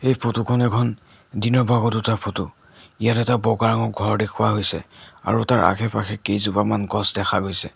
Photo খন এখন দিনৰ ভাগত উঠা ফটো ইয়াত এটা বগা ৰঙৰ ঘৰ দেখুওৱা হৈছে আৰু তাৰ আশে পাশে কেইজোপামান গছ দেখা গৈছে।